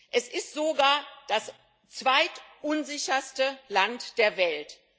Es ist sogar das zweitunsicherste Land der Welt.